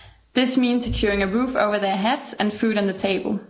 This means securing a roof over their heads and food on the table.